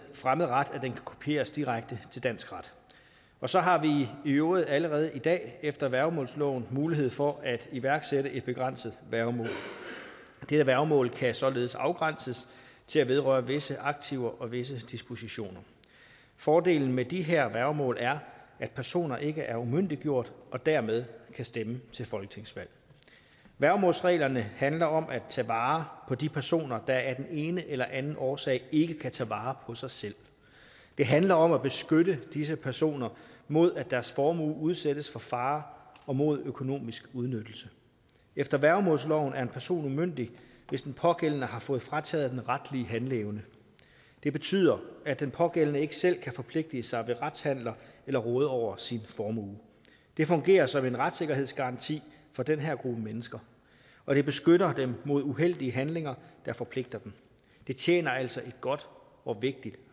fremmed ret at den kan kopieres direkte til dansk ret og så har vi i øvrigt allerede i dag efter værgemålsloven mulighed for at iværksætte et begrænset værgemål dette værgemål kan således afgrænses til at vedrøre visse aktiver og visse dispositioner fordelen ved de her værgemål er at personer ikke er umyndiggjorte og dermed kan stemme til folketingsvalg værgemålsreglerne handler om at tage vare på de personer der af den ene eller den anden årsag ikke kan tage vare på sig selv det handler om at beskytte disse personer mod at deres formue udsættes for fare og mod økonomisk udnyttelse efter værgemålsloven er en person umyndig hvis den pågældende har fået frataget den retlige handleevne det betyder at den pågældende ikke selv kan forpligtige sig ved retshandler eller råde over sin formue det fungerer som en retssikkerhedsgaranti for den her gruppe mennesker og det beskytter dem mod uheldige handlinger der forpligter dem det tjener altså et godt og vigtigt